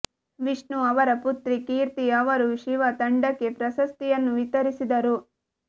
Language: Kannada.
ವಿಷ್ಣು ಅವರ ಪುತ್ರಿ ಕೀರ್ತಿ ಅವರು ಶಿವ ತಂಡಕ್ಕೆ ಪ್ರಶಸ್ತಿಯನ್ನು ವಿತರಿಸಿದರು